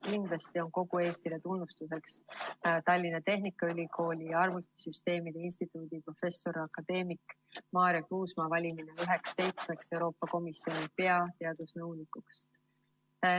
Kindlasti on kogu Eestile tunnustuseks Tallinna Tehnikaülikooli arvutisüsteemide instituudi professori akadeemik Maarja Kruusmaa valimine üheks seitsmest Euroopa Komisjoni peateadusnõunikust.